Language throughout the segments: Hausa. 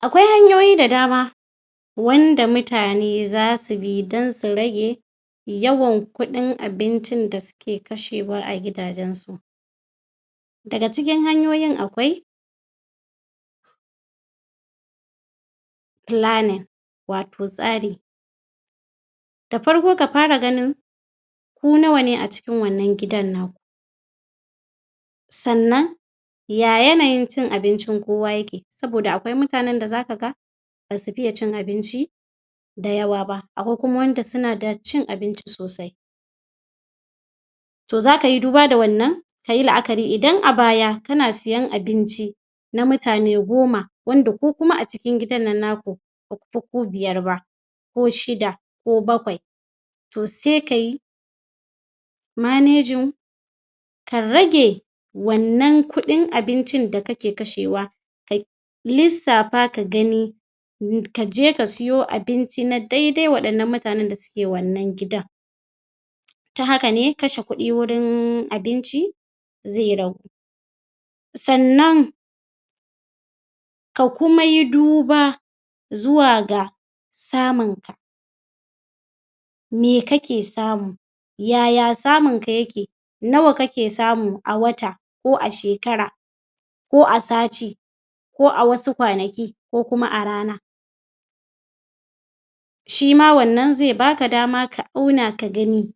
Akwai hanyoyi da dama wanda mutane za su bi don su rage yawan kuɗin abincin da suke kashewa a gidajensu. daga cikin hanyoyin akwai planning wato tsari da farko ka fara ganin ku nawa ne a cikin wannan gidan naku sannan ya yanayin cin abincin kowa yake saboda akwai mutanen da za ka ga ba su fiye cin abinci da yawa ba, akwai wanda suna da cin abinci sosai to za ka yi duba da wannan ka yi la'akari idan a bya kana la'akari na mutane goma wanda ku kuma a cikin gidan nan naku, ba ku fi ku biyar ba. ko shida ko bakwai to sai ka yi manejin ka rage wannan kuɗin abincin da kake kashewa ka lissafa ka gani ka je ka siyo abinci na daidai waɗannan mutanen da ke wannan gidan ta haka ne kashe kuɗi wajen abinci zai ragu sannan ka kuma yi duba zuwa ga tamu me kake samu ya ya samunka yake nawa kake samu a wata ko a shekara ko a sati ko a wasu kwanaki ko a rana shi ma wannan zai ba ka dama ka auna ka gani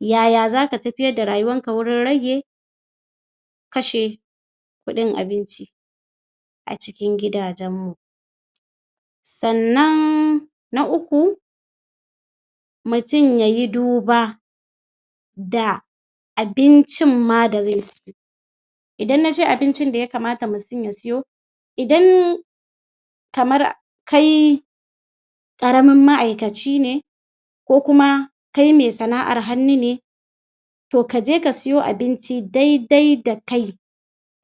ya ya za ka tafiyar da rayuwarka wajen rage kashe kuɗin abinci. Acikin gidajenmu Sannan na uku mutum ya yi duba da abincinma da zai ci idan nace abincin da ya kamata mutum ya siyo idan kamar kai ƙaramin ma'aikaci ne ko kuma kai mai sana'ar hannu ne to ka je ka siyo abinci dai-dai da kai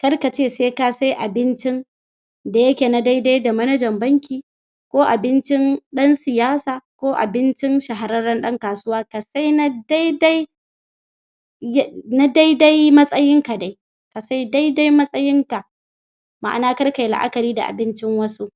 kar kace sai ka sai abincin da yake na daidai da manajan banki ko abincin ɗan siyasa ko abincin shahararren ɗan kasuwa, ka sai na daidai na daidai matsayinka da. ka sai daidai matsayinka ma'ana karkai la'akari da abincin waɗansu.